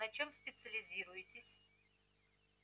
на чём специализируетесь